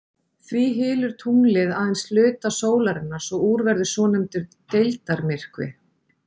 Því hylur tunglið aðeins hluta sólarinnar svo úr verður svonefndur deildarmyrkvi.